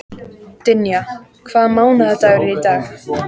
Dynja, hvaða mánaðardagur er í dag?